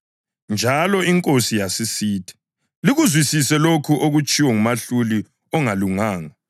Njalo iNkosi yasisithi, “Likuzwisise lokho okutshiwo ngumahluli ongalunganga.